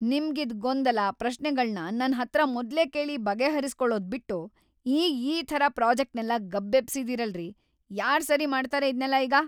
ನಿಮ್ಗಿದ್ ಗೊಂದಲ, ಪ್ರಶ್ನೆಗಳ್ನ ನನ್‌ ಹತ್ರ ಮೊದ್ಲೇ ಕೇಳಿ ಬಗೆಹರಿಸ್ಕೊಳದ್‌ ಬಿಟ್ಟು ಈಗ್‌ ಈ ಥರ ಪ್ರಾಜೆಕ್ಟ್‌ನೆಲ್ಲ ಗಬ್ಬೆಬ್ಸಿದೀರಲ್ರೀ! ಯಾರ್‌ ಸರಿ ಮಾಡ್ತಾರೆ ಇದ್ನೆಲ್ಲ ಈಗ?!